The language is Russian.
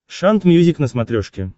шант мьюзик на смотрешке